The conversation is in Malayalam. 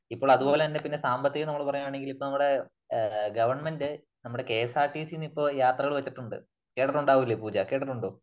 ഇപ്പള് അത്പോലെ തന്നെ പിന്നെ സാമ്പത്തികം എന്ന് നമ്മള് പറയുകയാണെങ്കിൽ ഇപ്പോ നമ്മുടെ ഗവൺമെന്റ് നമ്മുടെ K S R T C തന്നെ ഇപ്പോൾ യാത്രകൾ വച്ചിട്ടുണ്ട് . കെട്ടിട്ടുണ്ടാകില്ലേ പൂജ ? കേട്ടിട്ടുണ്ടോ?